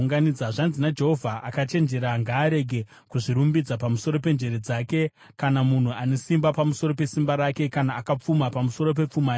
Zvanzi naJehovha: “Akachenjera ngaarege kuzvirumbidza pamusoro penjere dzake, kana munhu ane simba pamusoro pesimba rake, kana akapfuma pamusoro pepfuma yake,